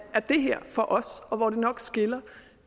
det her for os og hvor det nok skiller